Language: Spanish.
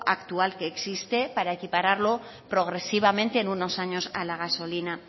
actual que existe para equiparlo progresivamente en unos años a la gasolina